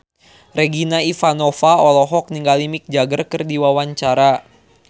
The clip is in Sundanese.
Regina Ivanova olohok ningali Mick Jagger keur diwawancara